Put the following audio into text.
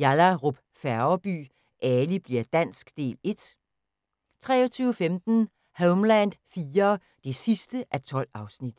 Yallahrup Færgeby: Ali bli'r dansk – Del 1 * 23:15: Homeland IV (12:12)